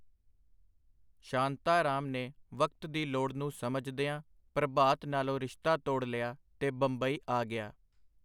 ਸ਼ਾਂਤਾਰਾਮ ਨੇ ਵਕਤ ਦੀ ਲੋੜ ਨੂੰ ਸਮਝਦਿਆਂ ਪ੍ਰਭਾਤ ਨਾਲੋਂ ਰਿਸ਼ਤਾ ਤੋੜ ਲਿਆ ਤੇ ਬੰਬਈ ਆ ਗਿਆ.